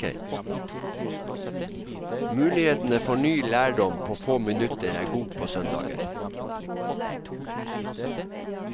Mulighetene for ny lærdom på få minutter er god på søndager.